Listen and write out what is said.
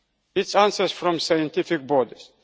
This answer is from scientific